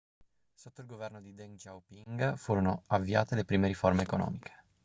sotto il governo di deng xiaoping furono avviate le prime riforme economiche